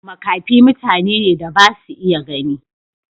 Makafi mutane ne da ba su iya gani.